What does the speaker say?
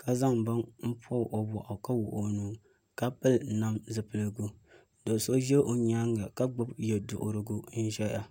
ka zaŋ bini n pobi o boɣu ka wuɣi o nuu ka pili nam zipiligu do so ʒɛ o nyaanga ka gbubi yɛduɣurigu n ʒɛya